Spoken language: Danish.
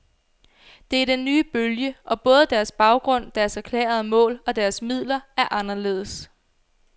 De er den nye bølge, og både deres baggrund, deres erklærede mål og deres midler er anderledes.